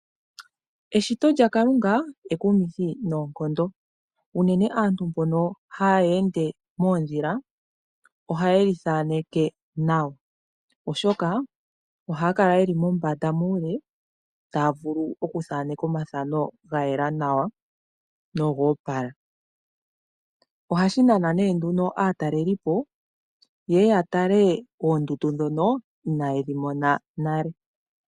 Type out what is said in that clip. Eshito lyakalunga ekumithi noonkondo, unene aantu mboka hayende mondhila ohaye li thaneke nawa oshoka ohaya kala yeli mombanda muule taya vulu okuthananeka omathano gayela nawa nogoopala, ohashi nana nduno atalelipo yeye yatale oondundu dhono ina yedhimona nale.